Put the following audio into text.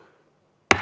Seda soovi ei ole.